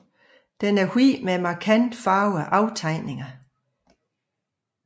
Den er hvid med markante farvede aftegninger